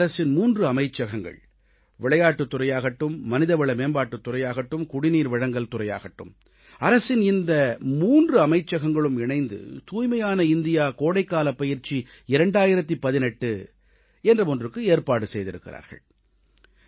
பாரத அரசின் 3 அமைச்சகங்கள் விளையாட்டுத் துறையாகட்டும் மனிதவள மேம்பாட்டுத் துறையாகட்டும் குடிநீர்வழங்கல் துறையாகட்டும் அரசின் இந்த மூன்று அமைச்சகங்களும் இணைந்து தூய்மையான இந்தியா கோடைக்கால பயிற்சி 2018 என்ற ஒன்றுக்கு ஏற்பாடு செய்திருக்கிறார்கள்